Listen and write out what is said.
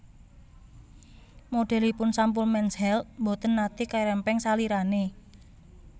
Modelipun sampul Mens Health mboten nate kerempeng salirane